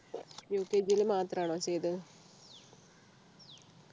UKG യിൽ മാത്രമാണോ ചെയ്തത്